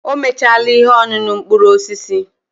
O mechaala ihe ọṅụṅụ mkpụrụ osisi.